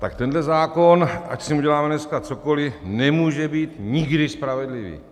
Tak tenhle zákon, ať s ním uděláme dneska cokoliv, nemůže být nikdy spravedlivý.